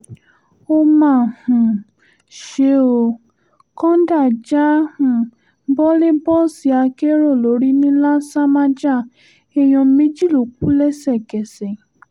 ó mà um ṣe ó kọ́ńdà já um bọ́ lè bọ́ọ̀sì akérò lórí ńìlasàmájà èèyàn méjì ló kù lẹ́sẹ̀kẹsẹ̀